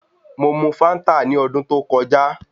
Mo mu fáńtà ní ọdún tó kọjá.